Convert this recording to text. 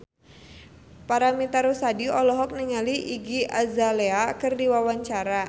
Paramitha Rusady olohok ningali Iggy Azalea keur diwawancara